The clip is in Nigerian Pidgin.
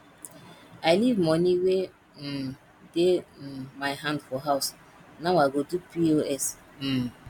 i leave money wey um dey um my hand for house now i go do pos um